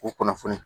O kunnafoni